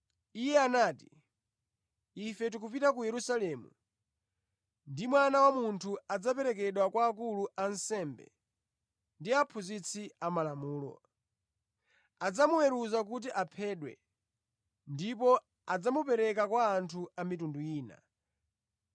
Iye anati, “Ife tikupita ku Yerusalemu ndipo Mwana wa Munthu adzaperekedwa kwa akulu a ansembe ndi aphunzitsi amalamulo. Adzamuweruza kuti aphedwe ndipo adzamupereka kwa anthu a mitundu ina,